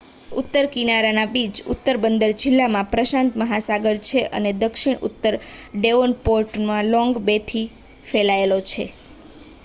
ઉત્તર કિનારાના બીચ ઉત્તર બંદર જિલ્લામાં પ્રશાંત મહાસાગરમાં છે અને દક્ષિણમાં ઉત્તર ડેવોનપોર્ટમાં લોંગ બેથી ફેલાયેલો છે